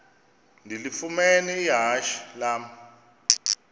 ndilifumene ihashe lam